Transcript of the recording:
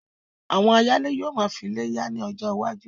Àwọn ayálé yóò máa fí ilé yá ní ọjọ iwájú